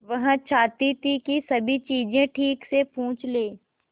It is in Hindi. वह चाहती थी कि सभी चीजें ठीक से पूछ ले